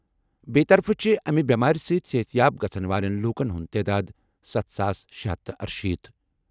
بییہِ طرفہٕ چھِ امہِ بیمارِ سۭتۍ صحت یاب گژھَن والٮ۪ن لوٗکَن ہُنٛد تعداد سَتھ ساس شے ہَتھ تہٕ ارشیتھ ۔